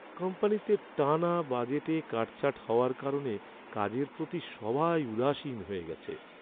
কোম্পানিতে টানা বাজেটে কাটছাঁট হওয়ার কারণে কাজের প্রতি সবাই উদাসীন হয়ে গেছে।